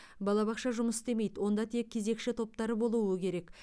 балабақша жұмыс істемейді онда тек кезекші топтар болуы керек